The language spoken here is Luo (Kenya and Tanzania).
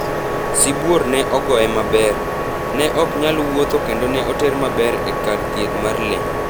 Sibuor ne ogoye maber, ne ok nyal wuotho ​​kendo ne oter maber e kar thieth mar le